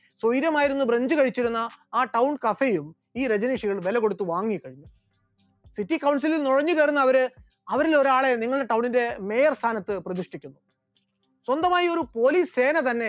സ്വൈര്യമായിരുന്ന് french കഴിച്ചിരുന്ന ആ town cafe യും ഈ രജനീഷുകൾ വിലകൊടുത്ത് വാങ്ങിക്കഴിയും, city councel ൽ നുഴഞ്ഞുകയറുന്ന അവർ, അവരിൽ ഒരാളെ നിങ്ങളുടെ town ന്റെ mayor ടെ സ്ഥാനത്ത് പ്രതിഷ്ഠിക്കും, സ്വന്തമായി ഒരു police സേന തന്നെ